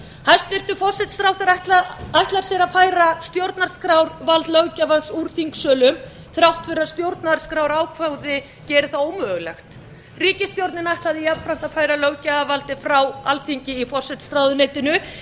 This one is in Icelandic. hæstvirtur forsætisráðherra ætlar sér að færa stjórnarskrárvald löggjafans úr þingsölum þrátt fyrir að stjórnarskrárákvæði geri það ómögulegt ríkisstjórnin ætlaði jafnframt að færa löggjafarvaldið frá alþingi í forsætisráðuneytinu